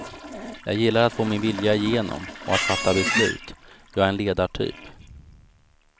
Jag gillar att få min vilja igenom och att fatta beslut, jag är en ledartyp.